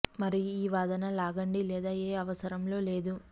మరియు ఈ వాదన లాగండి లేదా ఏ అవసరం లో లేదు